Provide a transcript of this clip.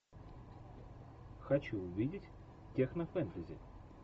хочу увидеть технофэнтези